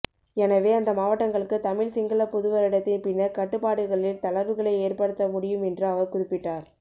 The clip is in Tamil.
எனவே அந்த மாவட்டங்களுக்கு தமிழ் சிங்கள புதுவருடத்தின் பின்னர் கட்டுப்பாடுகளில் தளர்வுகளை ஏற்படுத்த முடியும் என்று அவர் குறிப்பிட்டார்